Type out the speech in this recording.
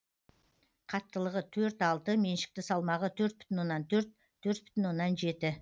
қаттылығы төрт алты меншікті салмағы төрт бүтін оннан төрт төрт бүтін оннан жеті